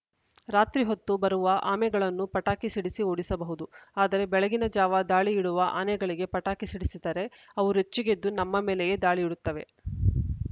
ರಾತ್ರಿ ಹೊತ್ತು ಬರುವ ಆಮೆಗಳನ್ನು ಪಟಾಕಿ ಸಿಡಿಸಿ ಓಡಿಸಬಹುದು ಆದರೆ ಬೆಳಗಿನ ಜಾವ ದಾಳಿಯಿಡುವ ಆನೆಗಳಿಗೆ ಪಟಾಕಿ ಸಿಡಿಸಿದರೆ ಅವು ರೊಚ್ಚಿಗೆದ್ದು ನಮ್ಮ ಮೇಲೆಯೇ ದಾಳಿಯಿಡುತ್ತವೆ